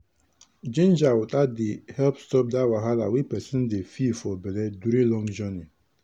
ginger water dey help stop dat wahala wey person dey feel for belle during long journey.